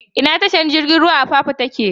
Ina tashar jirigin ruwan Apapa take?